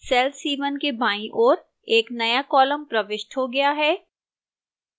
cell c1 के बाईं ओर एक नया column प्रविष्ट हो गया है